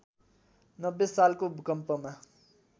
९० सालको भूकम्पमा